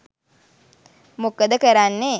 මොකද කරන්නේ